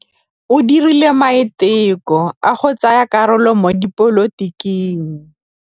O dirile maitekô a go tsaya karolo mo dipolotiking.